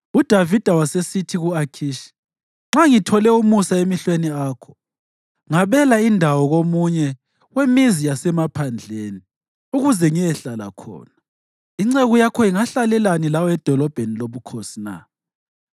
UDavida wasesithi ku-Akhishi, “Nxa ngithole umusa emehlweni akho ngabela indawo komunye wemizi yasemaphandleni, ukuze ngiyehlala khona. Inceku yakho ingahlalelani lawe edolobheni lobukhosi na?”